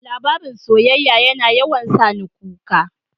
Labarin soyyaya yana yawan sani kuka.